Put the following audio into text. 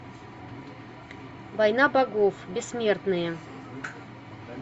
война богов бессмертные